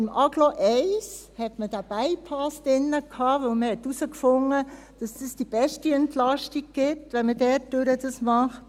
Im Agglo-Programm 1 hatte man den Bypass drin, weil man herausgefunden hatte, dass es die beste Entlastung bietet, wenn man dies dort hindurch macht.